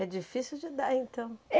É difícil de dar, então?